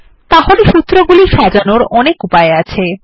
তাহলে সূত্রগুলি সাজানোর অনেক উপায় আছে